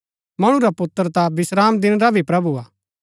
मणु रा पुत्र ता विश्रामदिन रा भी प्रभु हा